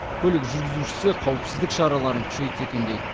көлік жүргізушісі қауіпсіздік шараларын күшейтсе екен дейді